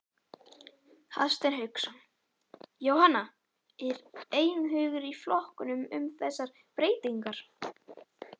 Hafsteinn Hauksson: Jóhanna, er einhugur í flokknum um þessar breytingar?